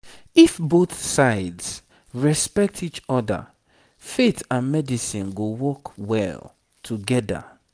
if both sides respect each other faith and medicine go work well together